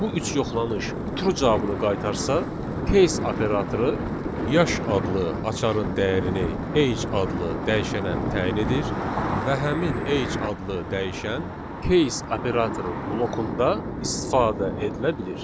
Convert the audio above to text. Bu üç yoxlanış true cavabını qaytarsa, case operatoru yaş adlı açarın dəyərini age adlı dəyişənə təyin edir və həmin age adlı dəyişən case operatorun blokunda istifadə edilə bilir.